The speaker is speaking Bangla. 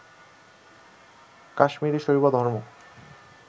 কাশ্মীরি শৈবধর্ম